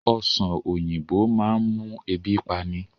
Ọ̀sán oyinbo máa ń mú ebi pani